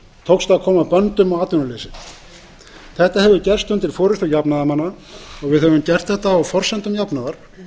tókst að koma böndum á atvinnuleysið þetta hefur gerst undir forustu jafnaðarmanna við höfum gert þetta á forsendum jöfnuðar